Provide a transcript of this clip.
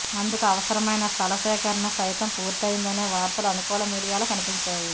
అందుకు అవసరమైన స్థల సేకరణ సైతం పూర్తయ్యిందనే వార్తలు అనుకూల మీడియాలో కనిపించాయి